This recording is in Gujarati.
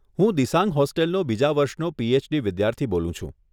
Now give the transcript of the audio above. હું દિસાંગ હોસ્ટેલનો બીજા વર્ષનો પી.એચડી. વિદ્યાર્થી બોલું છું.